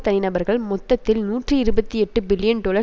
தனிநபர்கள் மொத்தத்தில் நூற்றி இருபத்தி எட்டு பில்லியன் டொலர்